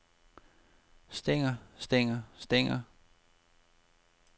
stænger stænger stænger